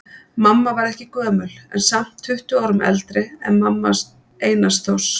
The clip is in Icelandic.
Mamma varð ekki gömul en samt tuttugu árum eldri en mamma Einars Þórs.